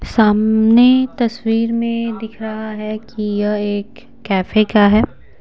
सामने तस्वीर में दिख रहा है कि यह एक कैफे का है।